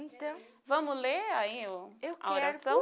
Então, vamos ler aí o a oração? Eu quero